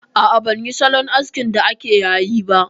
A'a, ban yi salon askin da ake yayi ba